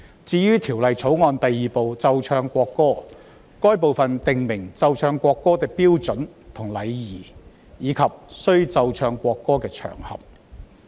至於《條例草案》第2部奏唱國歌，該部訂明奏唱國歌的標準和禮儀，以及須奏唱國歌的場合。